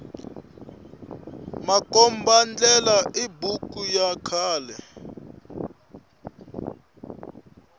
makomba ndlela i buku ya khale